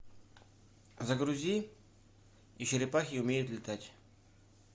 загрузи и черепахи умеют летать